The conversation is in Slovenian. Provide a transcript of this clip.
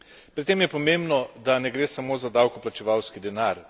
Pri tem je pomembno, da ne gre samo za davkoplačevalski denar.